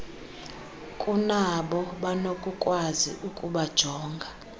kunabo banokukwazi ukubajonga